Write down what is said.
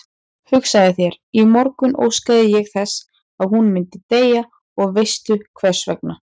Hugsaðu þér, í morgun óskaði ég þess að hún myndi deyja og veistu hversvegna?